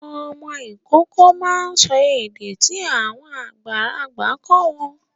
Ọmọ Ìkọkọ má ń sọ èdè tí àwọn àgbàlagbà kọ gbó.